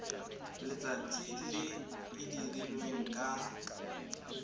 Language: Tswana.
letsatsi le e dirilweng ka